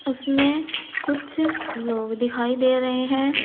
उसमें कुछ लोग दिखाई दे रहे हैं।